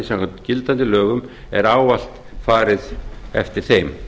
samkvæmt gildandi lögum er ávallt farið eftir þeim